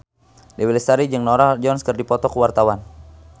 Dewi Lestari jeung Norah Jones keur dipoto ku wartawan